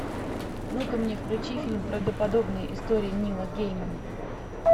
ну ка мне включи фильм правдоподобные истории нила геймана